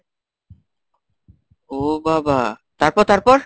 ও বাবা তারপর তারপর?